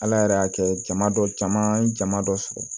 Ala yɛrɛ y'a kɛ jama dɔ jama ye jama dɔ sɔrɔ